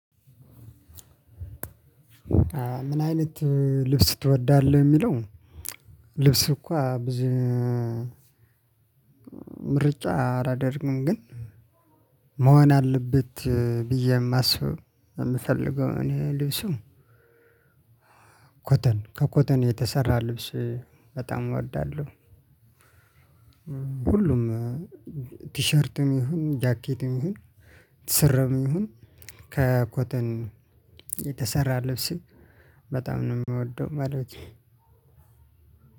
ምን አይነት ልብስ ትወዳለህ የሚለው? ልብስ እኮ ብዙ ምርጫ አላደርግም። ግን መሆን አለበት ብዬ የማስበው የምፈልገው እኔ ልብስም ኮተን ከኮተን የተሰራ ልብስ በጣም እወዳለሁ። ሁሉም ቲሸርትም ይሁን ጃኬትም ይሁን ትሰረም ይሁን ከኮተን የተሰራ ልብስ በጣም ነው የምወደው ማለት ነው።